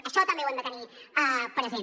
això també ho hem de tenir present